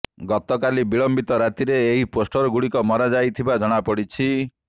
ଗତକାଲି ବିଳମ୍ବିତ ରାତିରେ ଏହି ପୋଷ୍ଟର ଗୁଡିକ ମରାଯାଇଥିବା ଜଣାପଡିଛି